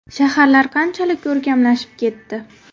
Shaharlar qanchalik ko‘rkamlashib ketdi.